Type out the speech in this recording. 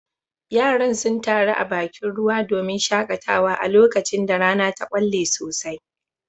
Yaran sun taru a bakin ruwa domin shakatawa a lokacin da rana ta kwalle sosai